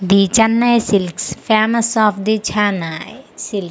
The Chennai silks famous of the Chennai silk .